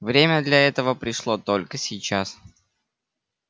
время для этого пришло только сейчас